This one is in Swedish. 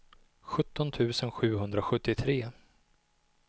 sjutton tusen sjuhundrasjuttiotre